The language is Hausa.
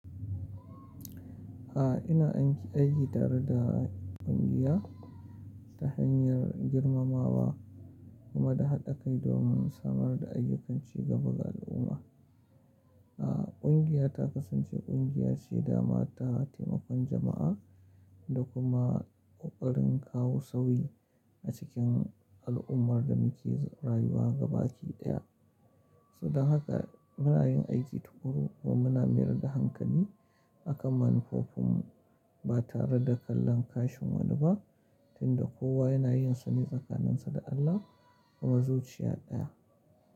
Ina anki aiki tare da kungiya, ta hanyar girmamawa, kuma da haɗa kai domin samar da ayyukan cigaba ga al'umma. Kungiya ta kasan ce kungiya ce daman ta taimakon jama'a da kuma kokarin kawo sauyi a cikin al'ummar da muke rayuwa baki daya. Saboda haka muna yin aiki tukuru kuma muna mayar da hankali akan manufofinmu batare da kallon kashin wani ba tunda tunda kowa yana yinsa ne tsakanin sa da Allah kima zuciya daya.